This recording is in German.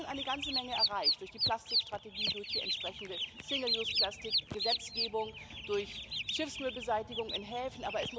Wir haben schon eine ganze Menge erreicht durch die Plastikstrategie, durch die entsprechende Single use plastic Gesetzgebung, durch Schiffsmüllbeseitigung in Häfen.